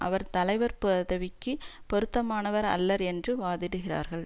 அவர் தலைவர் பதவிக்கு பொறுத்தமானவர் அல்லர் என்று வாதிடுகிறார்கள்